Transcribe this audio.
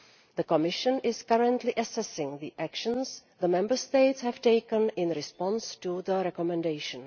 The Commission is currently assessing the actions the Member States have taken in response to the recommendation.